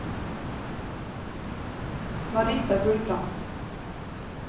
Marita Gulbrandsen